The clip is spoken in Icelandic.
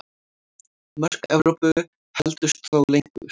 Mörk Evrópu héldust þó lengur.